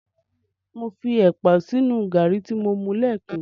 Mo fi ẹ̀pà sínu gàrí tí mo mu lẹ́ẹ̀kan.